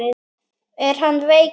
Er hann veikur?